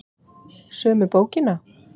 Sömu bókina?